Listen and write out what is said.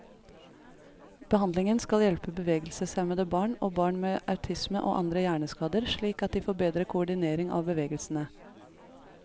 Behandlingen skal hjelpe bevegelseshemmede barn, og barn med autisme og andre hjerneskader slik at de får bedre koordinering av bevegelsene.